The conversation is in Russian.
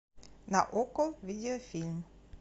на окко видеофильм